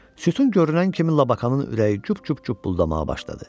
Sütun görünən kimi Lakanın ürəyi cup-cup buldamağa başladı.